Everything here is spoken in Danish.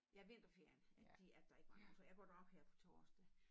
Ja vinterferien at de at der ikke var nogen så jeg går derop her på torsdag